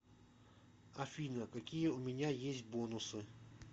афина какие у меня есть бонусы